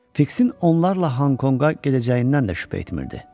Fiksin onlarla Honkonqa gedəcəyindən də şübhə etmirdi.